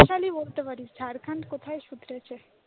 নকশালেই বলতে পারিস ঝারখান কোথায় শুধরেছে?